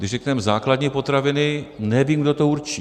Když řekneme základní potraviny, nevím, kdo to určí.